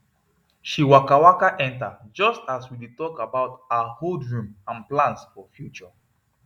she waka waka enter just as we dey talk about her old room and plans for future